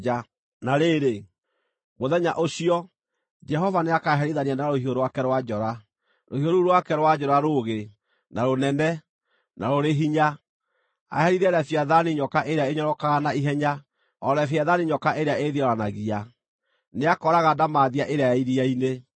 Na rĩrĩ, mũthenya ũcio, Jehova nĩakaherithia na rũhiũ rwake rwa njora, rũhiũ rũu rwake rwa njora rũũgĩ, na rũnene, na rũrĩ hinya, aherithie Leviathani nyoka ĩrĩa ĩnyororokaga na ihenya, o Leviathani nyoka ĩrĩa ĩĩthioranagia; nĩakooraga ndamathia ĩrĩa ya iria-inĩ.